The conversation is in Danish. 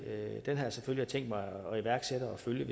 selvfølgelig tænkt mig at iværksætte og følge